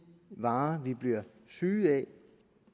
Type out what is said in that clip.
varer vi bliver syge af